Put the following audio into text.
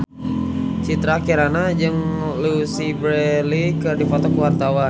Citra Kirana jeung Louise Brealey keur dipoto ku wartawan